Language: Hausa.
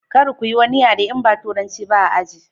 Kar kuyi wani yare in ba turanci ba a aji.